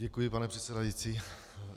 Děkuji, pane předsedající.